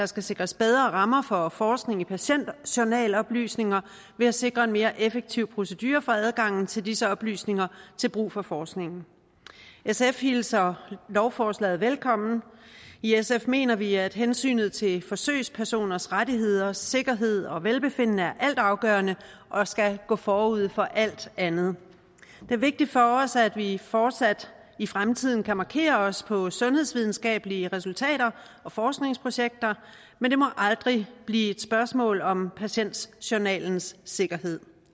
skal sikres bedre rammer for forskning i patientjournaloplysninger ved at sikre en mere effektiv procedure for adgangen til disse oplysninger til brug for forskning sf hilser lovforslaget velkommen i sf mener vi at hensynet til forsøgspersoners rettigheder sikkerhed og velbefindende er altafgørende og skal gå forud for alt andet det er vigtigt for os at vi fortsat i fremtiden kan markere os på sundhedsvidenskabelige resultater og forskningsprojekter men det må aldrig blive et spørgsmål om patientjournalens sikkerhed